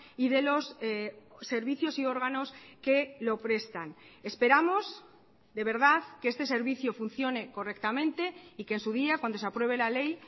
y de los servicios y órganos que lo prestan esperamos de verdad que este servicio funcione correctamente y que en su día cuando se apruebe la ley